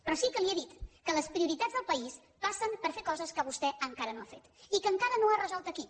però sí que li he dit que les prioritats del país passen per fer coses que vostè encara no ha fet i que encara no ha resolt aquí